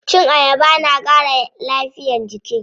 Cin ayaba na ƙara lafiyar jiki.